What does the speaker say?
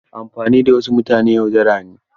Amfani da wasu mutane yaudara ne.